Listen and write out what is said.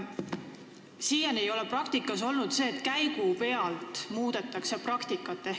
Siiani ei ole olnud, et käigupealt korda muudetakse.